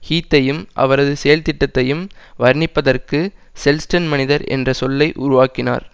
ஹீத்தையும் அவரது செயல்திட்டத்தையும் வர்ணிப்பதற்கு செல்ஸ்டன் மனிதர் என்ற சொல்லை உருவாக்கினார்